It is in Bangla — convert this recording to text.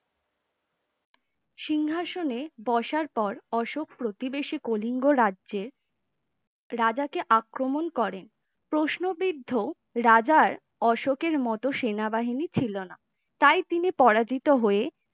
সিংহাসনে বসার পর অশোক প্রতিবেশী কলিঙ্গ রাজ্যের রাজা কে আক্রমণ করেন প্রশ্নবিদ্ধ রাজার অশোকের মতো সেনাবাহিনী ছিলনা তাই তিনি পরাজিত হয়ে